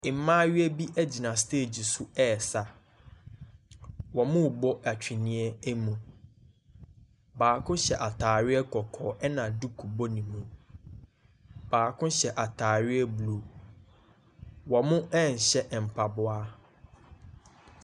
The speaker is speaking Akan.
Mmaayewa bi gyina stage so resa. Wɔrebɔ twene mu. Baako hyɛ atadeɛ kɔkɔɔ, ɛna duku bɔ ne ti. Baako hyɛ atadeɛ blue. Wɔnhyɛ mpaboa.